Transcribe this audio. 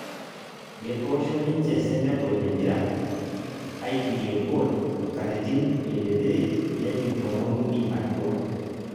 etoosho ninje senegal empira apirie gool nkatitin 23 nenjing' tomon uni atua